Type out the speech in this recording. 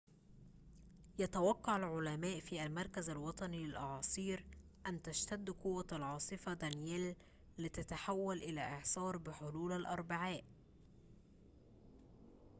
يتوقّع العلماء في المركز الوطني للأعاصير أن تشتد قوة العاصفة دانييل لتتحول إلى إعصار بحلول الأربعاء